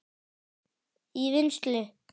í vinnslu